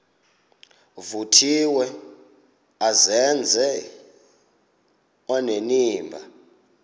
vuthiwe azenze onenimba